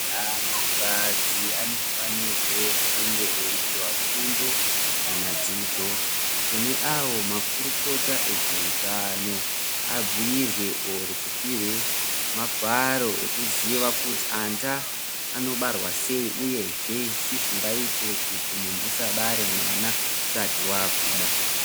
Antu kadzi anofanirwe kunge eipuwa gundo kqna dzidzo kune awo makutukota ezveutano abhuirwe oro kupiwe magwaro ekuziva kuti anda anobarwa sei uyezve chii chinoitwa kuti muntu usabare mwana usati wakura.